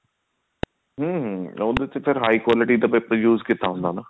ਹਮ ਹਮ ਉਹਦੇ ਤੇ ਫ਼ੇਰ high quality ਦਾ paper use ਕੀਤਾ ਹੁੰਦਾ